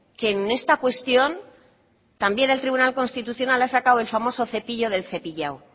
que en esta cuestión también el tribunal constitucional ha sacado el famoso cepillo del cepillado